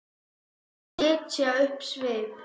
Setja upp svip?